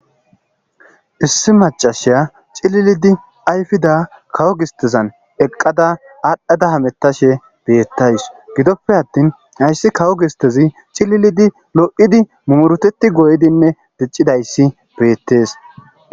Issi maccasya cililidi ayfida kawo gisteza eqada adhada hamutashe betaws gidope attin haysi kawo gisteza cililidi adhidi lo'idays beetes